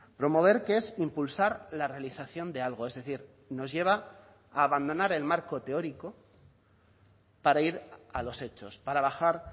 promover que es impulsar la realización de algo es decir nos lleva a abandonar el marco teórico para ir a los hechos para bajar